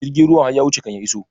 Jirgin ruwan har ya wuce kan ya iso